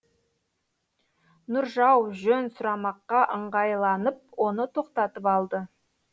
нұржау жөн сұрамаққа ыңғайланып оны тоқтатып алды